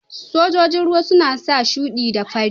Sojojin ruwa suna sa shudi da fari.